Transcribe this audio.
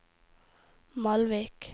Malvik